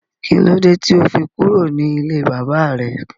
Kílódé tí ó fi kúrò ní ilé bàbà rẹ